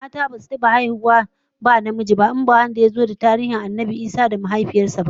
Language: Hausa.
Mata basu taba haihuwa ba ba tare da namiji ba, in ba wanda yazo a tarihin Annabi Isa da mahaifiyar sa ba.